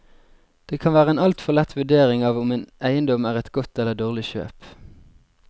Det kan være en alt for lett vurdering av om en eiendom er et godt eller dårlig kjøp.